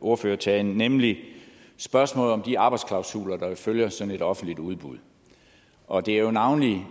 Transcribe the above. ordførertalen nemlig spørgsmålet om de arbejdsklausuler der jo følger sådan et offentligt udbud og det er navnlig